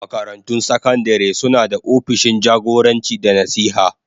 Makarantun sakandare suna da opishin jagoranci da nasiha.